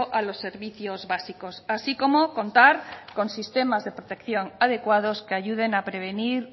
a los servicios básicos así como contar con sistemas de protección adecuados que ayuden a prevenir